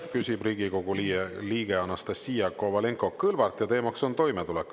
Küsib Riigikogu liige Anastassia Kovalenko-Kõlvart ja teemaks on toimetulek.